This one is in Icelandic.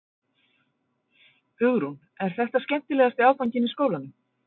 Hugrún: Er þetta skemmtilegasti áfanginn í skólanum?